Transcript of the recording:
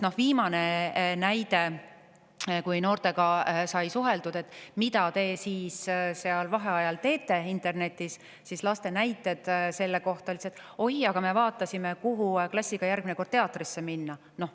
Viimane näide: kui noortelt sai küsitud, mida te seal internetis vaheajal teete, siis lapsed vastasid, et oi, me vaatasime, kuhu teatrisse klassiga järgmine kord minna.